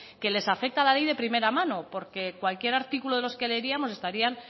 que les afecta la ley de primera mano porque cualquier artículo que leeríamos estarían